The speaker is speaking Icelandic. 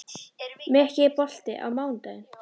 Mikki, er bolti á mánudaginn?